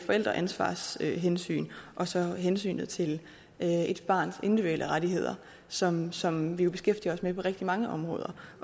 forældreansvarshensyn og så hensynet til et barns individuelle rettigheder som som vi jo beskæftiger os med på rigtig mange områder